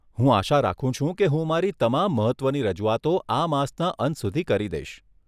હું આશા રાખું છું કે હું મારી તમામ મહત્વની રજુઆતો આ માસના અંત સુધી કરી દઈશ.